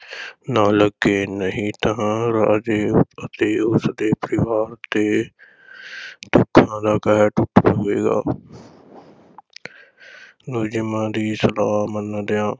ਨਾ ਲੱਗੇ, ਨਹੀਂ ਤਾਂ ਰਾਜੇ ਅਤੇ ਉਸ ਦੇ ਪਰਿਵਾਰ ’ਤੇ ਦੁੱਖਾਂ ਦਾ ਕਹਿਰ ਟੁੱਟ ਪਵੇਗਾ ਨਜੂਮੀਆਂ ਦੀ ਸਲਾਹ ਮੰਨਦਿਆਂ